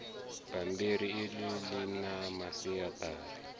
bammbiri iḽi ḽi na masiaṱari